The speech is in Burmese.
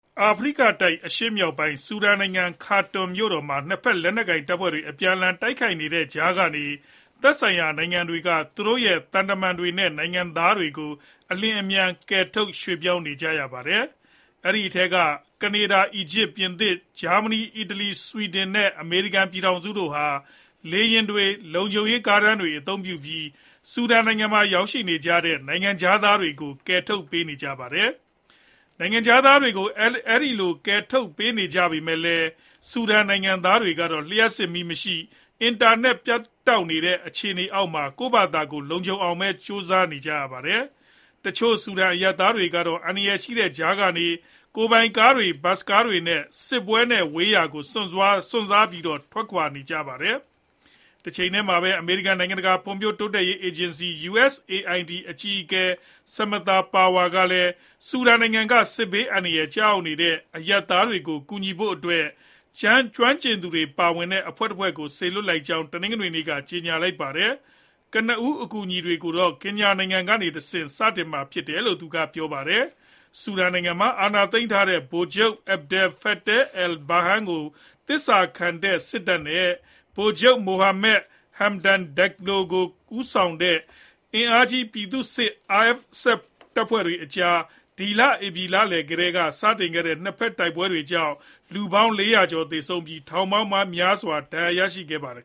အာဖရိကတိုက် ၊ အရှေ့မြောက်ပိုင်း ဆူဒန်နိုင်ငံ Khartoum မြို့တော်မှာ ၂ ဖက် လက်နက်ကိုင်တပ်ဖွဲ့တွေ အပြန်အလှန် တိုက်ခိုက်နေတဲ့ကြားကနေ သက်ဆိုင်ရာ နိုင်ငံတွေက သူတို့ရဲ့ သံတမန်တွေ နဲ့ နိုင်ငံသားတွေကို အလျှင်အမြန် ကယ်ထုတ်ရွှေ့ပြောင်းနေကြပါတယ်။ ဒီအထဲက ကနေဒါ၊ အီဂျစ် ၊ ပြင်သစ် ၊ ဂျာမဏီ၊ အီတလီ၊ ဆွီဒင် နဲ့ အမေရိကန် ပြည်ထောင်စုတို့ဟာ လေယာဉ်တွေ ၊ လုံခြုံရေး ကားတန်းတွေ အသုံးပြုပြီး ဆူဒန်မှာ ရောက်ရှိနေကြတဲ့ နိုင်ငံခြားသားတွေကို ကယ်ထုတ်ပေးနေကြပါတယ်။ နိုင်ငံခြားသားတွေကို အဲဒီလို ကယ်ထုတ်ပေးနေကြပေမယ့်လည်း ဆူဒန်နိုင်ငံသားတွေကတော့ လျှပ်စစ်မီးမရှိ ၊ အင်တာနက် ပြတ်တောက်နေတဲ့ အခြေအနေအောက်မှာ ကိုယ့်ကိုကိုယ် လုံခြုံအောင် ကြိုးပမ်းနေကြရပါတယ်။ တချို့ ဆူဒန်အရပ်သားတွေကတော့ အန္တရာယ်ရှိတဲ့ကြားကနေ ကိုယ်ပိုင်ကားတွေ၊ ဘစ်စ်ကားတွေနဲ့ စစ်ပွဲနဲ့ ဝေးရာကို စွန့်စားပြီး ထွက်ခွာသွားကြပါတယ်။ တချိန်တည်းမှာပဲ အမေရိကန် နိုင်ငံတကာ ဖွံဖြိုးတိုးတက်ရေး အေဂျင်စီ USAID အကြီးအကဲ Samantha Power ကလည်း ဆူဒန်နိုင်ငံ က စစ်ဘေး အန္တရာယ်ကျရောက်နေတဲ့ အရပ်သားတွေကို ကူညီဖို့အတွက် ကျွမ်းကျင်သူတွေပါဝင်တဲ့ အဖွဲ့တဖွဲ့ကို စေလွှတ်လိုက်ကြောင်း တနင်္ဂနွေနေ့က ကြေညာလိုက်ပါတယ်။ ကနဦး အကူအညီတွေကိုတော့ ကင်ညာနိုင်ငံ ကနေတဆင့် စတင်မှာဖြစ်တယ်လို့လည်း သူကပြောပါတယ်။ ဆူဒန်နိုင်ငံမှာ အာဏာသိမ်းထားတဲ့ ဗိုလ်ချုပ် Abdel Fattah al-Burhan ကို သစ္စာခံတဲ့ စစ်တပ် နဲ့ ဗိုလ်ချုပ် Mohamed Hamdan Dagaloဦးဆောင်တဲ့ အင်အားကြီး ပြည်သူစစ်တပ်ဖွဲ့ RSF အကြား ဒီလ ဧပြီလလည်းက စတင်ခဲ့တဲ့ ၂ ဖက် တိုက်ပွဲတွေကြောင့် လူပေါင်း ၄ ရာကျော်သေဆုံးခဲ့ပြီး ထောင်ပေါင်းများစွာ ဒဏ်ရာရရှိခဲ့ပါတယ်